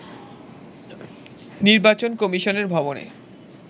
নির্বাচন কমিশনের ভবনে